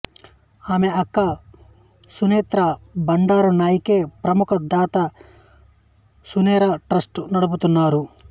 ఆమె అక్క సునెత్రా బండారునాయకే ప్రముఖ దాత సునెరా ట్రస్టు నడుపుతుంటారు